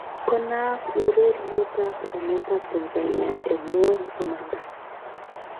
Konaak ureriet ab emet ab Tanzania en ngwony komanda